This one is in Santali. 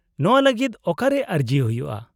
-ᱱᱚᱶᱟ ᱞᱟᱹᱜᱤᱫ ᱚᱠᱟᱨᱮ ᱟᱹᱨᱡᱤ ᱦᱩᱭᱩᱜᱼᱟ ?